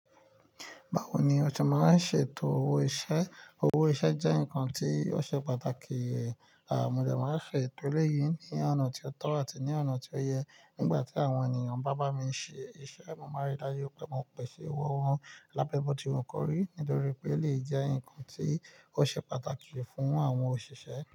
Báwo ni oṣe máa ń ṣètò owó iṣẹ́? Owó iṣẹ́ jẹ́ nǹkan tí ó ṣe pàtàkì. Mo dẹ maa n ṣe etọ eleyii ni ọna ti o tọ ati ni ọna ti o yẹ. Nígbà tí àwọn ènìyàn bá bá mi ṣe iṣẹ́, mo máa rí i dájú pé mo pèsè owo wọn lábẹ́bọ́ ti wu kọrí nítorí pé elèyii jẹ́ ǹkan tí ó ṣe pàtàkì fún àwọn òṣìṣẹ́